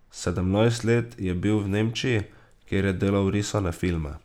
Sedemnajst let je bil v Nemčiji, kjer je delal risane filme.